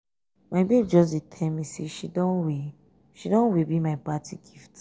my babe just dey tell me say she don way she don way bill my birthday gift.